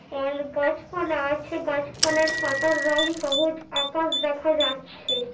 আর গাছপালা আছে গাছপালার পাতার রং সবুজ। আকাশ দেখা যাচ্ছে --